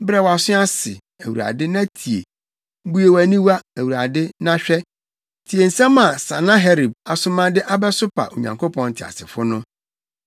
Brɛ wʼaso ase, Awurade, na tie! Bue wʼani, Awurade, na hwɛ. Tie nsɛm a Sanaherib asoma de abɛsopa Onyankopɔn teasefo no.